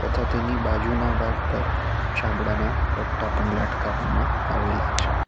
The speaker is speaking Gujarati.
તથા તેની બાજુના ભાગ પર ચામડાના પટ્ટા પણ લાટકાવામાં આવેલા છે.